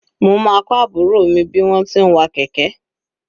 Mo máa kọ́ àbúrò mi bí wọ́n ti ń wa kẹ̀kẹ́.